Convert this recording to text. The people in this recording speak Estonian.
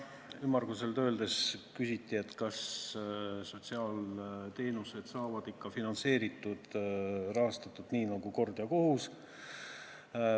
Ümmarguselt öeldes küsiti, kas sotsiaalteenused saavad ikka rahastatud nii nagu kord ja kohus.